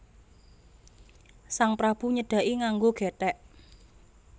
Sang Prabu nyedhaki nganggo gethek